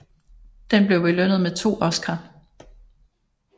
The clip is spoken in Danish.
Den blev belønnet med to Oscar